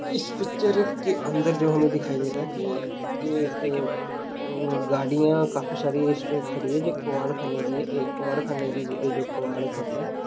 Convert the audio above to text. इस पिक्चर के अंदर जो हमें दिखाई दे रहा है कि जे एक अ गाड़ियां काफी सारी इसमें खड़ी जो कबाड़ख़ाने की है एक कबाड़ख़ाने की जो-जो कबाड़ होता है।